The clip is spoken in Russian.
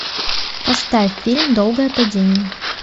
поставь фильм долгое падение